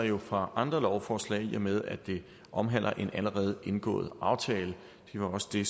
jo fra andre lovforslag i og med at det omhandler en allerede indgået aftale det var også det